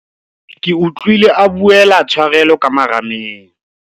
ke utlwile a buela tshwarelo ka marameng.